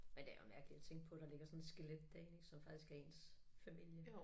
Men det jo mærkeligt at tænke på der ligger sådan et skelet derinde som faktisk er ens familie